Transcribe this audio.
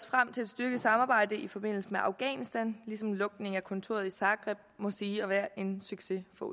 frem til et styrket samarbejde i forbindelse med afghanistan ligesom lukningen af kontoret i zagreb må siges at være en succes for